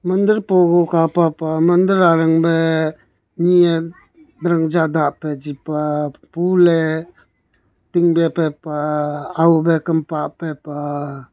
mandir pogu kapa pah mandir arang beh nee heh rinjah dapeh pah ful heh tin beh pah aho beh kam pah peh pah.